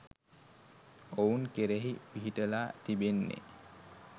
ඔවුන් කෙරෙහි පිහිටලා තිබෙන්නේ